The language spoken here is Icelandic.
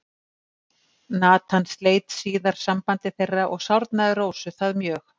Natan sleit síðar sambandi þeirra og sárnaði Rósu það mjög.